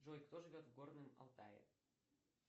джой кто живет в горном алтае